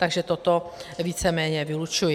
Takže toto víceméně vylučuji.